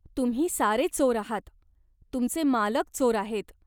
तुम्ही सारे चोर आहात. तुमचे मालक चोर आहेत.